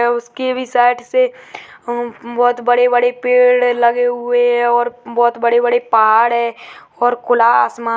उसके भी साइड से बहोत बड़े-बड़े पेड़़ लगे हुए हैं और बहोत बड़े-बड़े पहाड़ हैं और खुला आसमान --